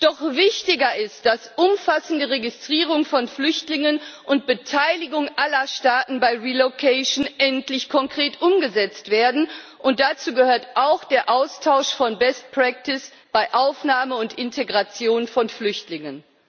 Doch wichtiger ist, dass umfassende Registrierung von Flüchtlingen und Beteiligung aller Staaten bei relocation endlich konkret umgesetzt werden, und dazu gehört auch der Austausch von Best Practice bei Aufnahme und Integration von Flüchtlingen.